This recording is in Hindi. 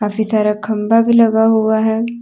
उसी तरह खंभा भी लगा हुआ है।